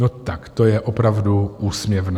No tak to je opravdu úsměvné.